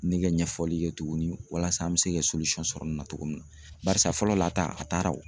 Ne kɛ ɲɛfɔli kɛ tuguni walasa an bɛ se ka sɔrɔ nin na cogo min na barisa fɔlɔ la ta, a taara o